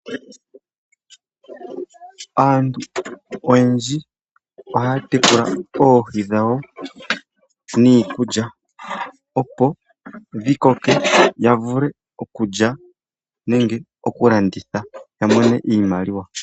Aantu oyendji ohaatekula oohi dhawo niikulya opo dhikoke ya vule okulya nenge okulanditha yamonemo iimaliwa.